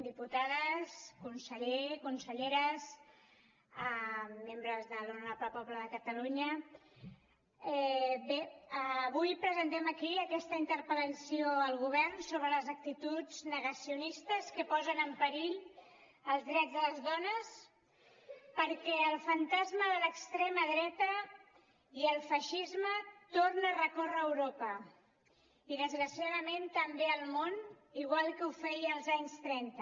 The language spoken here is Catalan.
diputades conseller conselleres membres de l’honorable poble de catalunya bé avui presentem aquí aquesta interpel·lació al govern sobre les actituds negacionistes que posen en perill els drets de les dones perquè el fantasma de l’extrema dreta i el feixisme torna a recórrer europa i desgraciadament també al món igual que ho feia als anys trenta